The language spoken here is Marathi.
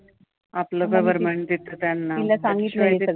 आपलं government देत त्यांना